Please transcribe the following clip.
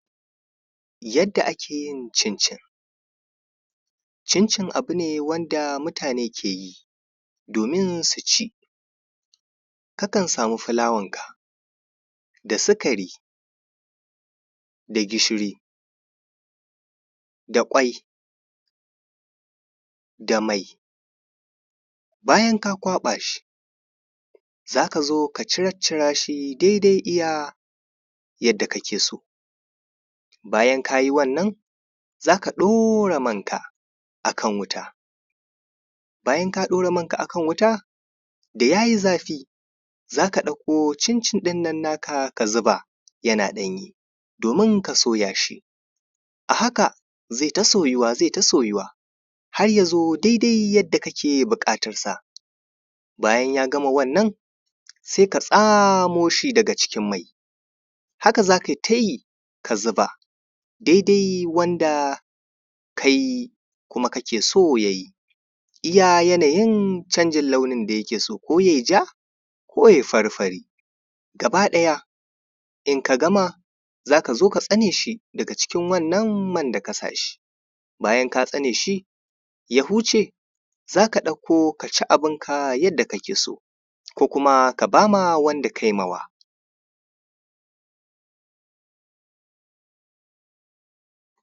yanda ake yin cincin cincin abu ne wanda mutane ke yi domin su ci kakan samu fulawanka da sukari da gishiri da ƙwai da mai bayan ka kwaɓa shi za ka zo ka ciccira shi dai dai iya yanda ka ke so bayan ka yi wannan za ka ɗora manka a kan wuta bayan ka ɗora manka a kan wuta da ya yi zafi zaka ɗauko cincin ɗin nan naka ka zuba yana ɗanye domin ka soya shi a haka zai ta soyuwa zai ta soyuwa har ya zo dai dai da ka ke buƙatansa bayan ya gama wannan sai ka tsamo shi daga cikin mai haka za kai ta yi ka zuba dai dai wanda ka yi kuma kake so ka yi iya yanayin canjin launi da ya ke so yayi ja ko ya yi fari fari gaba ɗaya in ka gama za ka zo ka tsane shi daga cikin wannan man da ka sa shi bayan ka tsane shi ya huce za ka ɗauko ka ci abinka yanda ka ke so ko kuma ka ba ma wanda ka yi mawa